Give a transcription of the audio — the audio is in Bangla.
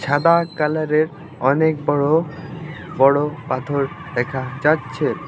সাদা কালার -এর অনেক বড় বড় পাথর দেখা যাচ্ছে।